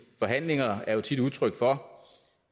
forhandlinger er jo tit udtryk for